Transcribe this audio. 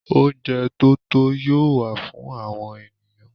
Oúnjẹ tó tó yóò wà fún àwọn ènìyàn.